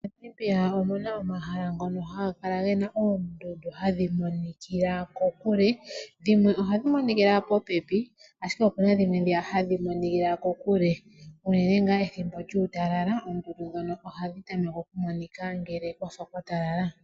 Monamibia omuna omahala ngono haga kala gena oondundu hadhi monikila kokule ,dhimwe ohadhi monikila popepi ashike opena dhimwe dhiya hadhi monikila kokule unene ngaa pethimbo lyuutalala oondundu ndhono ohadhi tameke okumonika ngele kwafa kwa talala.